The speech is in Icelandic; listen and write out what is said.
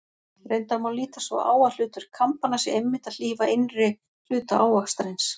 Reyndar má líta svo á að hlutverk kambanna sé einmitt að hlífa innri hluta ávaxtarins.